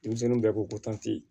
Denmisɛnninw bɛɛ ko ko ko tanti